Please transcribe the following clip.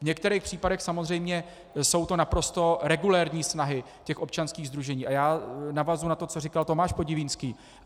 V některých případech samozřejmě jsou to naprosto regulérní snahy těch občanských sdružení, a já navazuji na to, co říkal Tomáš Podivínský.